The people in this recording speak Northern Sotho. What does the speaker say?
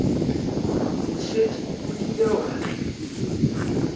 o šetše o kile wa